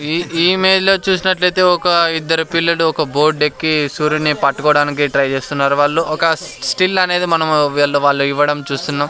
ఈ ఈ ఇమేజ్లో చూసినట్లయితే ఒక ఇద్దరు పిల్లలు ఒక బోర్డెక్కి సూర్యుని పట్టుకోడానికి ట్రై చేస్తున్నారు వాళ్ళు ఒక స్టిల్ అనేది మనం వీళ్ళు వాళ్ళు ఇవ్వడం చూస్తున్నాం.